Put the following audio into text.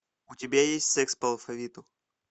у тебя есть секс по алфавиту